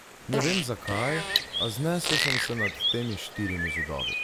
Ne vem zakaj, a znesel sem se nad temi štirimi zidovi.